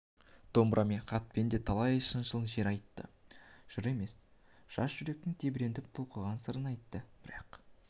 домбырамен хатпен де талай шыншыл жыр айтты жыр емес жас жүректің тебіреніп толқыған сырын айтты бірақ